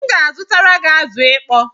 M ga-azutara gị azụ ịkpọ